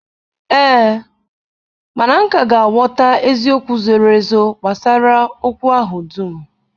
Ee, mana m ka ga-aghọta eziokwu zoro ezo gbasara okwu ahụ dum